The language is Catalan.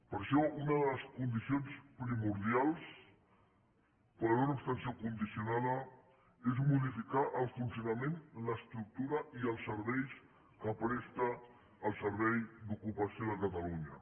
per això una de les condicions primordials per una abstenció condicionada és modificar el funcionament l’estructura i els serveis que presta el servei d’ocupació de catalunya